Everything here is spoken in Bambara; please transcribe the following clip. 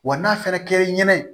Wa n'a fɔra k'e ɲɛna